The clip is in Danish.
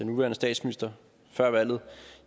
nuværende statsminister før valget